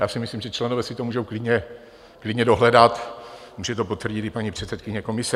Já si myslím, že členové si to můžou klidně dohledat, může to potvrdit i paní předsedkyně komise.